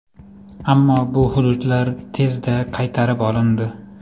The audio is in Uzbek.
Ammo bu hududlar tezda qaytarib olindi.